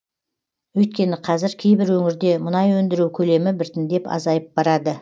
өйткені қазір кейбір өңірде мұнай өндіру көлемі біртіндеп азайып барады